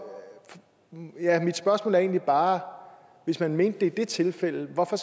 er mit spørgsmål egentlig bare hvis man mente det i det tilfælde hvorfor